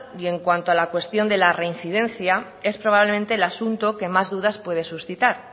y en cuanto a la cuestión de la reincidencia es probablemente el asunto que más dudas puede suscitar